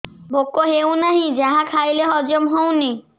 ଭୋକ ହେଉନାହିଁ ଯାହା ଖାଇଲେ ହଜମ ହଉନି